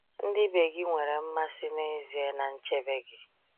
Ndị ibe gị nwere mmasị n’ezie na nchebe gị.